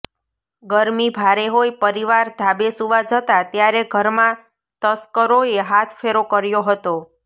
ગરમી ભારે હોય પરિવાર ધાબે સૂવા જતા ત્યારે ઘરમાં તસ્કરોએ હાથફેરો કર્યો હતો